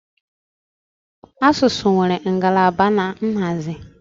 Asụsụ nwere ngalaba na nhazi